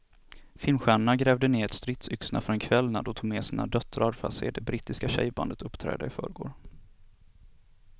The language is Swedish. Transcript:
Filmstjärnorna grävde ned stridsyxorna för en kväll när de tog med sina döttrar för att se det brittiska tjejbandet uppträda i förrgår.